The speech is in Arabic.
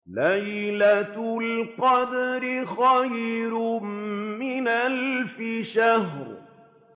لَيْلَةُ الْقَدْرِ خَيْرٌ مِّنْ أَلْفِ شَهْرٍ